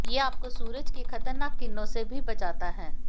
ये आपको सूरज की खतरनाक किरणों से भी बचाता हैं